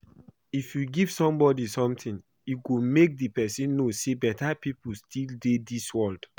If you give somebody something e go make the person know say beta people still dey dis world